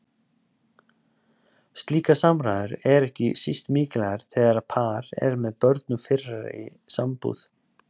Slíkar samræður eru ekki síst mikilvægar þegar par er með börn úr fyrri sambúð.